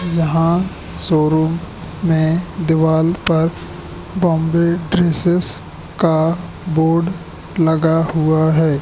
यहां शोरूम में दीवाल पर बॉम्बे ड्रेसेस का बोर्ड लगा हुआ है।